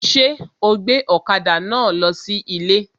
Ṣé ó gbé ọ̀kada náà lọ sí ilé?